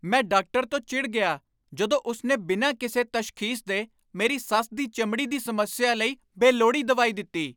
ਮੈਂ ਡਾਕਟਰ ਤੋਂ ਚਿੜ ਗਿਆ ਜਦੋਂ ਉਸ ਨੇ ਬਿਨਾਂ ਕਿਸੇ ਤਸ਼ਖੀਸ ਦੇ ਮੇਰੀ ਸੱਸ ਦੀ ਚਮੜੀ ਦੀ ਸਮੱਸਿਆ ਲਈ ਬੇਲੋੜੀ ਦਵਾਈ ਦਿੱਤੀ।